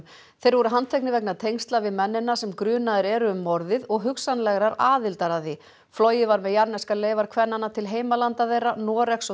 þeir voru handteknir vegna tengsla við mennina sem grunaðir eru um morðið og hugsanlegrar aðildar að því flogið var með jarðneskar leifar kvennanna til heimalanda þeirra Noregs og